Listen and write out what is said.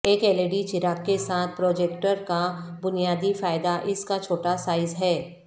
ایک یلئڈی چراغ کے ساتھ پروجیکٹر کا بنیادی فائدہ اس کا چھوٹا سائز ہے